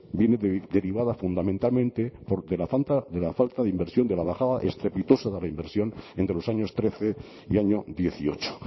viene derivada fundamentalmente de la falta de inversión de la bajada estrepitosa de la inversión entre los años trece y año dieciocho